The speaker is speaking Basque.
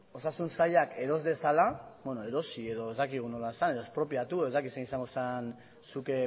osasun sailak eros dezala beno erosi edo ez dakigu nola esan expropiatu ez dakit zein izango zen zuk